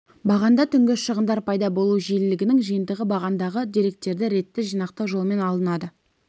бағанда түнгі шығындар пайда болу жиілігінің жиынтығы бағандағы деректерді ретті жинақтау жолымен алынады